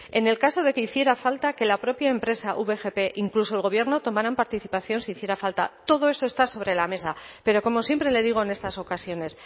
en el caso de que hiciera falta que la propia empresa vgp incluso el gobierno tomarán participación si hiciera falta todo eso está sobre la mesa pero como siempre le digo en estas ocasiones